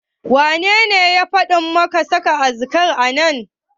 Wanene ya faɗa maka saka kazar a nan?